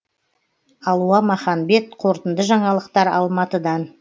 алуа маханбет қорытынды жаңалықтар алматыдан